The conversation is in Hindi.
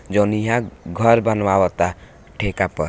जोन यहाँ घर बनावता ट्ठेका पर।